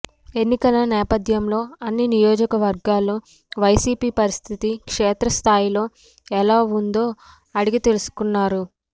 ఎన్నికల నేపధ్యంలో అన్ని నియోజకవర్గాల్లో వైసీపీ పరిస్థితి క్షేత్రస్థాయిలో ఎలా ఉందో అడిగి తెలుసుకున్నారు